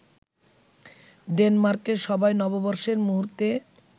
ডেনমার্কে সবাই নববর্ষের মুহূর্তে